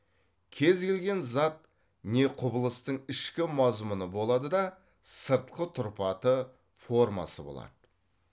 кез келген зат не құбылыстың ішкі мазмұны болады да сыртқы тұрпаты формасы болады